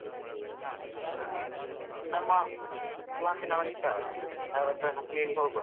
ಹಾ ಜನ, ನಮ್ಮ class ನವರು ಇದ್ದಾರಲ್ಲ, ಅವ್ರತ್ರೆಲ್ಲ ಕೇಳಿ ಹೋಗುವ.